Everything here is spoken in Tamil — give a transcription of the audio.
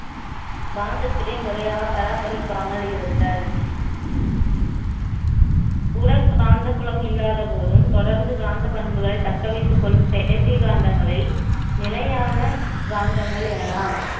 காந்தத்தை முறையாகப் பராமரிக்காமல் இருத்தல் உரசாந்த புலம் இல்லாத போதும் தொடர்ந்து பண்புகளை தக்க வைத்துக் கொள்ளும் செயற்கை காந்தங்களை நிலையான காந்தங்கள் எனலாம்